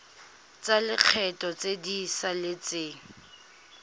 tsa lekgetho tse di saletseng